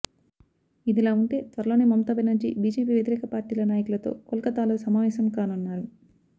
ఇదిలా ఉంటే త్వరలోనే మమతా బెనర్జీ బీజేపీ వ్యతిరేక పార్టీల నాయకులతో కోల్కతాలో సమావేశం కానున్నారు